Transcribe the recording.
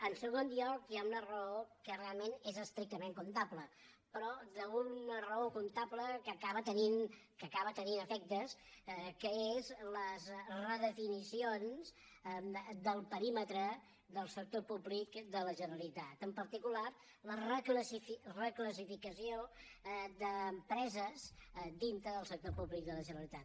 en segon lloc hi ha una raó que realment és estrictament comptable però una raó comptable que acaba tenint efectes que són les redefinicions del perímetre del sector públic de la generalitat en particular la reclassificació d’empreses dintre del sector públic de la generalitat